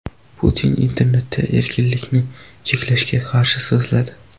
Putin internetda erkinlikni cheklashga qarshi so‘zladi.